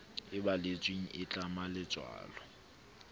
e balletsweng e tlama letswalo